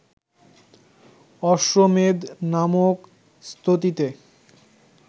অশ্বমেধ নামক স্তুতিতে